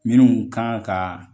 Minnu kan ka